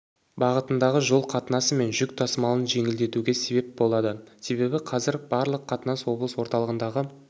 бағытындағы жол қатынасы мен жүк тасымалын жеңілдетуге сеп болады себебі қазір барлық қатынас облыс орталығындағы